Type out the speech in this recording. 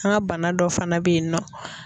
An ka bana dɔ fana bɛ yen nɔ.